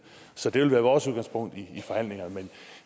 så det vil være vores udgangspunkt i forhandlingerne men